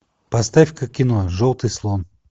поставь ка кино желтый слон